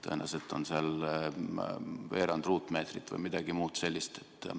Tõenäoliselt on seal kirjas veerand ruutmeetrit või midagi muud sellist.